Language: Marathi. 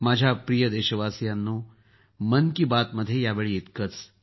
माझ्या प्रिय देशवासियांनो मन की बात मध्ये यावेळी इतकंच